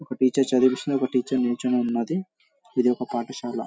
ఒక టీచర్ చదివిస్తున్నారు ఒక టీచర్ నించొని ఉన్నది. ఇది ఒక పాఠశాల.